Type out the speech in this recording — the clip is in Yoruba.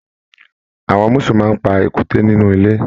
Àwọn musù máa n pa èkúté nínú ilé.